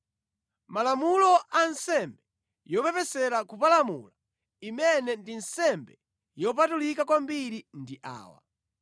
“ ‘Malamulo a nsembe yopepesera kupalamula imene ndi nsembe yopatulika kwambiri ndi awa: